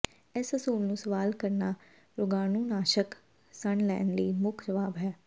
ਇਸ ਅਸੂਲ ਨੂੰ ਸਵਾਲ ਕਰਨਾ ਰੋਗਾਣੂਨਾਸ਼ਕ ਸਣ ਲੈਣ ਲਈ ਮੁੱਖ ਜਵਾਬ ਹੈ